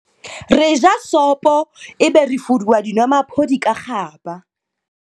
Re ja sopo ebe re fuduwa dinomaphodi ka kgaba.